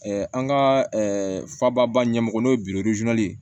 an ka faba ɲɛmɔgɔ n'o ye ye